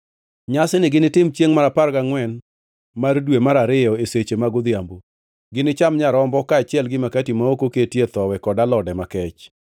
Nyasini ginitim chiengʼ mar apar gangʼwen mar dwe mar ariyo e seche mag odhiambo. Ginicham nyarombo, kaachiel gi makati ma ok oketie thowi kod alode makech.